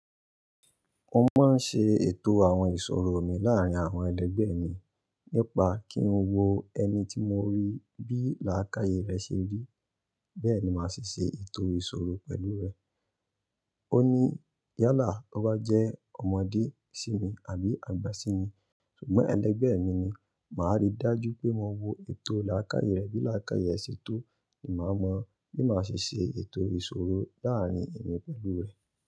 Mo máa ń ṣe ètò àwọn ìṣòro mi láàárín àwọn ẹlẹgbẹ́ mi nípa kí n wo ẹni tí mo rí bí làákàyè rẹ ṣe rí, bẹ́ẹ̀ ni màá ṣe ṣe ètò ìṣòro pẹ̀lú rẹ̀. Ó ní yálà tó bá jẹ́ ọmọdé sí mi àbí àgbà sí mi, ṣùgbọ́n ẹlẹgbẹ́ mi ni, màá rí i dájú pé mo wo ètò làákàyè rẹ bí làákàyè ṣe tó ni màá mọ bí màá ṣe ṣe ètò ìṣòro láàárín èmi pẹ̀lú rẹ̀.